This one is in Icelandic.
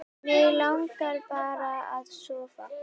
Mig langar bara að sofa.